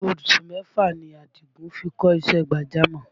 Oṣù mẹ́fà ni Àdìgún fi kọ́ṣẹ́ gbàjámọ̀